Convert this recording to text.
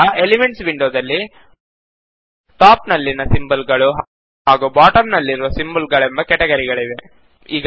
ಈಗ ಎಲಿಮೆಂಟ್ಸ್ ವಿಂಡೋದಲ್ಲಿ ಟಾಪ್ ನಲ್ಲಿನ ಸಿಂಬಲ್ ಗಳು ಹಾಗೂ ಬಾಟಮ್ ನಲ್ಲಿರುವ ಸಿಂಬಲ್ ಗಳೆಂಬ ಕೆಟಗರಿಗಳಿವೆ